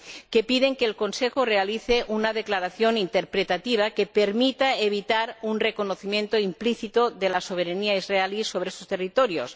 que piden que el Consejo realice una declaración interpretativa que permita evitar un reconocimiento implícito de la soberanía israelí sobre esos territorios